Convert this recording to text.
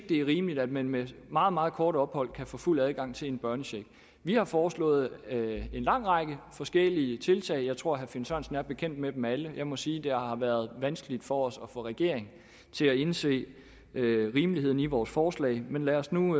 det er rimeligt at man med et meget meget kort ophold kan få fuld adgang til en børnecheck vi har foreslået en lang række forskellige tiltag jeg tror herre finn sørensen er bekendt med dem alle og jeg må sige at det har været vanskeligt for os at få regeringen til at indse rimeligheden i vores forslag men lad os nu